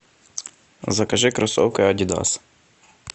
закажи кроссовки адидас